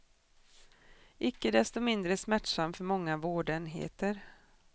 Icke desto mindre smärtsam för många vårdenheter.